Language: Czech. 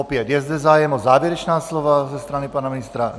Opět, je zde zájem o závěrečná slova ze strany pana ministra?